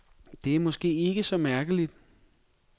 Det er måske ikke så mærkeligt.